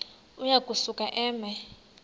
uya kusuka eme